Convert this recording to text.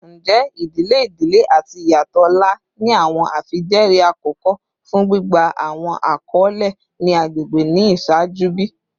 Njẹ idile idile ati iyatọ ọlá ni awọn afijẹẹri akọkọ fun gbigba awọn akọle ni agbegbe ni iṣaaju bi?